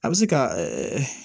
A bɛ se ka